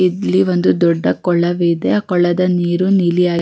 ಇಲ್ಲಿ ಒಂದು ದೊಡ್ಡ ಕೊಳವೆ ಇದೆ ಕೊಳದ ನೀರು ನೀಲಿಯಾ --